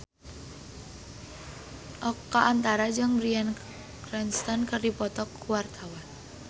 Oka Antara jeung Bryan Cranston keur dipoto ku wartawan